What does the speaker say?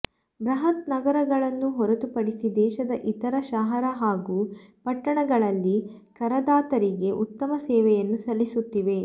ಬೃಹತ್ ನಗರಗಳನ್ನು ಹೊರತು ಪಡಿಸಿ ದೇಶದ ಇತರ ಶಹರ ಹಾಗೂ ಪಟ್ಟಣಗಳಲ್ಲಿ ಕರದಾತರಿಗೆ ಉತ್ತಮ ಸೇವೆಯನ್ನು ಸಲ್ಲಿಸುತ್ತಿವೆ